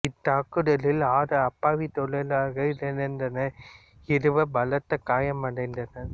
இத் தாக்குதலில் ஆறு அப்பாவி தொழிலாளர்கள் இறந்தனர் இருவர் பலத்த காயமடைந்தனர்